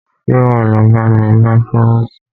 Ṣé wá lọ bá mi bá próvòstì?